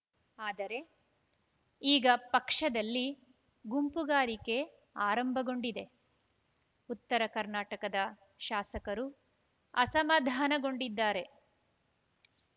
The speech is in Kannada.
ಆದರೆ ಈಗ ಪಕ್ಷದಲ್ಲಿ ಗುಂಪುಗಾರಿಕೆ ಆರಂಭಗೊಂಡಿದೆ ಉತ್ತರ ಕರ್ನಾಟಕದ ಶಾಸಕರು ಅಸಮಾಧಾನಗೊಂಡಿದ್ದಾರೆ